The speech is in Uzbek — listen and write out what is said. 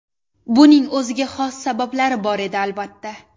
Buning o‘ziga xos sabablari bor edi, albatta.